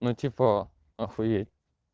ну типа охуеть